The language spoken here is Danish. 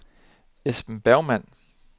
Esben Bergmann